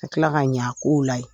Ka tila ka ɲa a kow la yen.